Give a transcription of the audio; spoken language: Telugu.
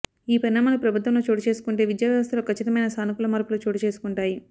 ఈ పరిణామాలు ప్రభుత్వంలో చోటు చేసుకుంటే విద్యావ్యవస్థలో కచ్చితమైన సానుకూల మార్పు లు చోటుచేసుకుంటాయి